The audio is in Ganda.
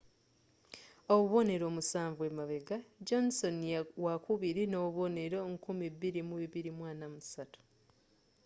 obubonero musanvu emabega johnson wakubiri nobubonero 2,243